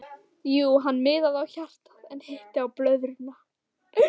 Hann miðaði á hjartað en hitti blöðruna.